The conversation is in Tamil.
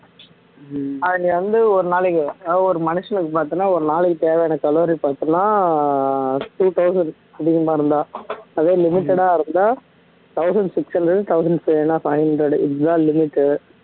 அது நீ வந்து ஒரு நாளைக்கு அதாவது ஒரு மனுஷனுக்கு பார்த்தன்னா ஒரு நாளைக்கு தேவையான calorie பார்த்தீங்கன்னா two thousand அதிகமா இருந்தா அதே limited ஆ இருந்தா thousand six hundred ல இருந்து thousand six இல்லைன்னா thousand five hundred இதுதான் limit டு